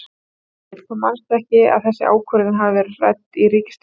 Egill: Þú manst ekki að þessi ákvörðun hafi verið rædd í ríkisstjórn?